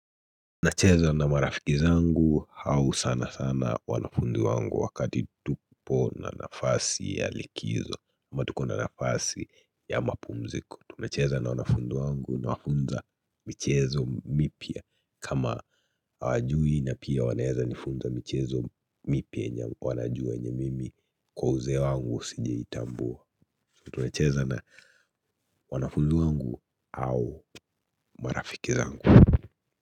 Tunacheza na marafiki zangu au sana sana wanafunzi wangu wakati tupo na nafasi ya likizo ama tuko na nafasi ya mapumziko tunacheza na wanafunzi wangu nawafunza michezo mipya kama hawajui na pia wanaeza nifunza michezo mipya yenye wanajua yenye mimi kwa uzee wangu sijaitambua tunacheza na wanafunzi wangu au marafiki zangu.